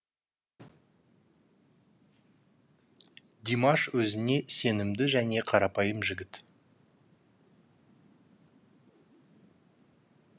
димаш өзіне сенімді және қарапайым жігіт